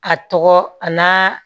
A tɔgɔ a n'a